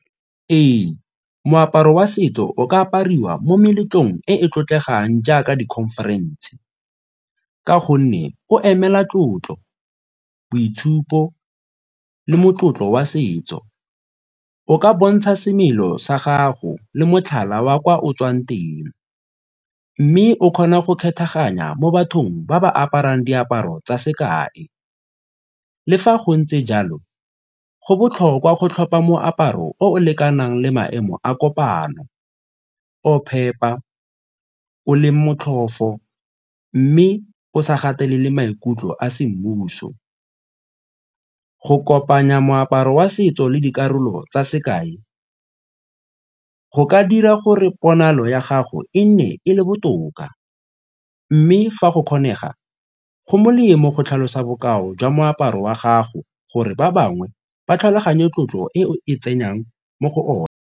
Ee, moaparo wa setso o ka apariwa mo meletlong e e tlotlegang jaaka di-conference ka gonne o emela tlotlo, boitshupo le motlotlo wa setso. O ka bontsha semelo sa gago le motlhala wa kwa o tswang teng mme o kgona go kgethaganya mo bathong ba ba aparang diaparo tsa sekae. Le fa go ntse jalo, go botlhokwa go tlhopha moaparo o lekanang le maemo a kopano o phepa, o leng motlhofo mme o sa gatelele maikutlo a semmuso. Go kopanya moaparo wa setso le dikarolo tsa sekae ka go ka dira gore ponalo ya gago e nne e le botoka mme fa go kgonega go molemo go tlhalosa bokao jwa moaparo wa gago gore ba bangwe ba tlhaloganye tlotlo e o e tsenyang mo go one.